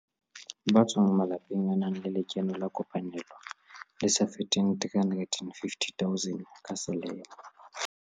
Ba tswang ho malapa a nang le lekeno la kopanelo le sa feteng R350 000 ka selemo.